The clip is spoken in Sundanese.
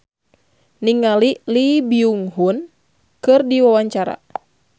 Ivan Permana olohok ningali Lee Byung Hun keur diwawancara